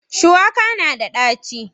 Shuwaka na da ɗaci.